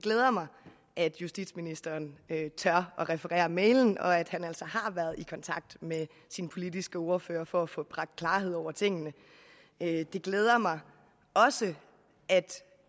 glæder mig at justitsministeren tør referere mailen og at han altså har været i kontakt med sin politiske ordfører for at få bragt klarhed over tingene det glæder mig også at